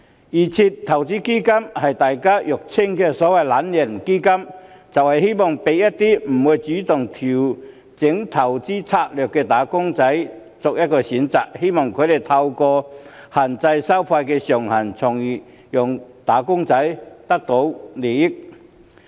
預設投資策略成分基金即是大家俗稱的"懶人基金"，為一些不會主動調整投資策略的"打工仔"提供一個選擇，希望透過限制收費上限，從而讓"打工仔"得益。